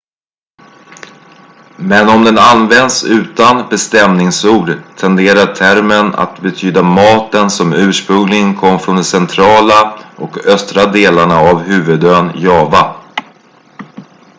men om den används utan bestämningsord tenderar termen att betyda maten som ursprungligen kom från de centrala och östra delarna av huvudön java